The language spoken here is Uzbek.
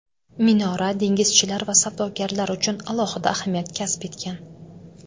Minora dengizchilar va savdogarlar uchun alohida ahamiyat kasb etgan.